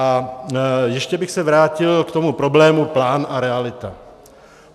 A ještě bych se vrátil k tomu problému plán a realita.